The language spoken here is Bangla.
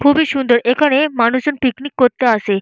খুবই সুন্দর এখানে মানুষজন পিকনিক করতে আসে।